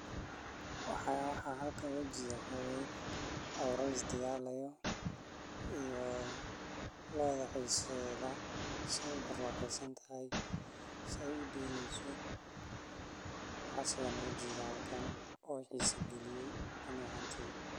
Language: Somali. Noolahay wuxuu leeyahay cimilo ku habboon koritaanka kaabajka sidoo kalena biyaha iyo ciidda waa kuwo taageeri kara. Haddii beeraleyda iska kaashadaan beeralaynta kaabajka oo ay helaan tababar .